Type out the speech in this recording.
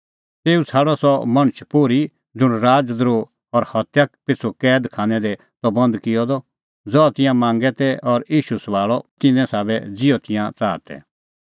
तेऊ छ़ाडअ सह मणछ पोर्ही ज़ुंण राज़ द्रोह और हत्या पिछ़ू कैद खानै दी त बंद किअ द ज़हा तिंयां मांगा तै और ईशू सभाल़अ तिन्नें साबै ज़िहअ तिंयां च़ाहा तै